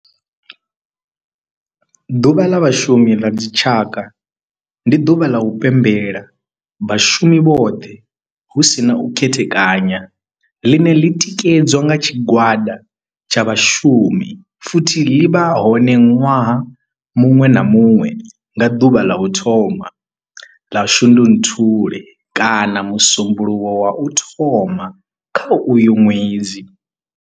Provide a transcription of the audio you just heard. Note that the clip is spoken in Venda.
Ḓuvha la Vhashumi la dzi tshaka, ndi duvha ḽa u pembela vhashumi vhothe hu si na u khethekanya ḽine ḽi tikedza nga tshigwada tsha vhashumi futhi ḽi vha hone nwaha munwe na munwe nga duvha ḽa u thoma 1 ḽa Shundunthule kana musumbulowo wa u thoma kha uyo nwedzi.